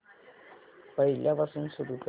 पहिल्यापासून सुरू कर